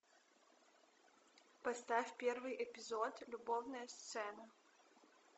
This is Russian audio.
поставь первый эпизод любовная сцена